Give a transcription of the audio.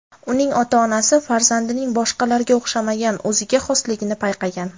Uning ota-onasi farzandining boshqalarga o‘xshamagan o‘ziga xosligini payqagan.